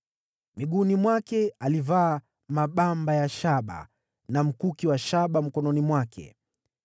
Miguuni mwake alivaa mabamba ya shaba, na alikuwa na mkuki wa shaba mgongoni mwake.